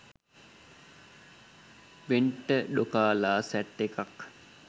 වෙන්ට ඩොකාලා සැට් එකක්